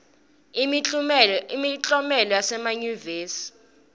imiklomelo yasemayunivesi